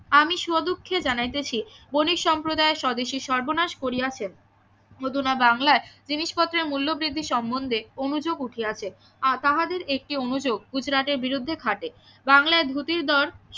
আমি স্ব দুঃখে জানাইতেছি বণিক সম্প্রদায় স্বদেশীর সর্বনাশ করিয়াছে অধুনা বাংলায় জিনিস পত্রের মূল্য বৃদ্ধি সম্বন্ধে অনুযোগ উঠিয়াছে আজ তাহাদের একটি অনুযোগ গুজরাটের বিরুদ্ধে খাটে বাংলায় ধুতির দর